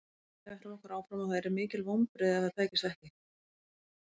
Við ætlum okkur áfram og það yrðu mikil vonbrigði ef það tækist ekki.